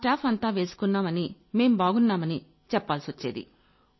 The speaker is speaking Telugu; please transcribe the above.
మా స్టాఫ్ అంతా వేసుకున్నామని మేం బాగున్నామని చెప్పాల్సొచ్చేది